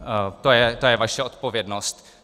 To je vaše odpovědnost.